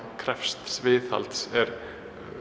krefst viðhalds er